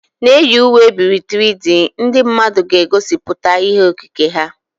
Na-eyi uwe e biri ebi 3D, ndị mmadụ ga-egosipụta ihe okike ha.